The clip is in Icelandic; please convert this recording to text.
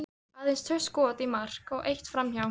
Aðeins tvö skot í mark og eitt framhjá.